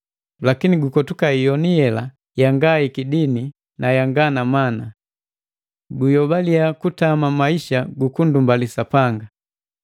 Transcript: Lakini gukotuka iyomu yela yanga ikidini na yanga na mana. Guyobaliya kutama maisa gukundumbali Sapanga.